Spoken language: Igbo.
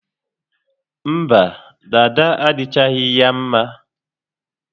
Mba, dada adịchaghị ya mma